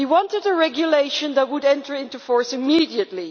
We wanted a regulation that would enter into force immediately.